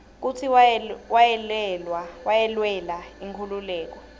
kutsi wayelwela inkhululeko